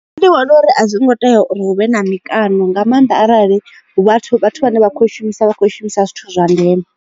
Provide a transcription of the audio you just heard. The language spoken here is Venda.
Nṋe ndi vhona uri a zwi ngo tea uri hu vhe na mikano nga maanḓa arali vhathu vhathu vhane vha kho shumisa vha kho shumisa zwithu zwa ndeme.